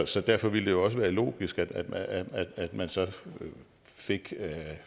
så derfor ville det jo også være logisk at at man så fik